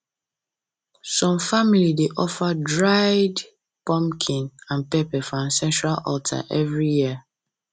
some family dey offer dried pumpkin and pepper for ancestral altar every year